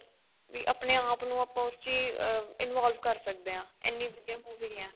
ਵੀ ਆਪਣੇ ਆਪ ਨੂੰ ਆਪਾਂ ਉਸ ਚ ਹੀ involve ਕਰ ਸਕਦੇ ਆ ਇੰਨੀ ਵਧੀਆ movie ਏ